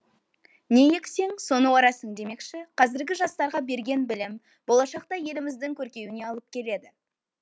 не ексең соны орасың демекші қазіргі жастарға берген білім болашақта еліміздің көркеюіне алып келеді